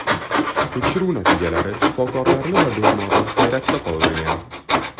Tekshiruv natijalari shifokorlarni va bemorni hayratda qoldirgan.